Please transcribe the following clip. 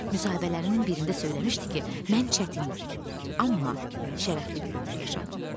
Müsahibələrinin birində söyləmişdi ki, mən çətin, amma şərəfli bir ömür yaşadım.